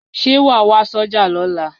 Ṣé wàá wá sọ́jà lọ́la